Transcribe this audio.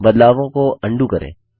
बदलावों को अंडू करें